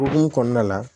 O hukumu kɔnɔna la